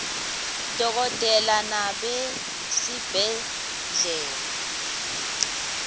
dokotela nobe sibhedlela